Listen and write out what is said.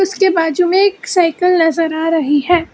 इसके बाजू में तो साइकल नजर आ रही है।